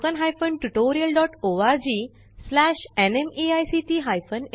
spoken tutorial project team